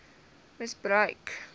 misbruik oorwin net